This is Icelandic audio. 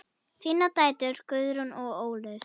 Þínar dætur, Guðrún og Ólöf.